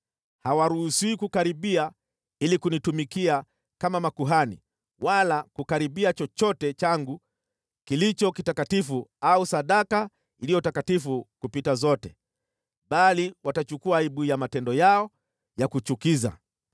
Hawaruhusiwi kukaribia ili kunitumikia kama makuhani wala kukaribia chochote changu kilicho kitakatifu au sadaka iliyo takatifu kupita zote, bali watachukua aibu ya matendo yao ya kuchukiza.